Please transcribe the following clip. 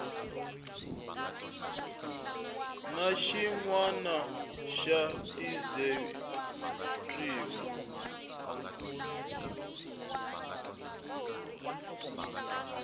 na xin wana xa dizeriwa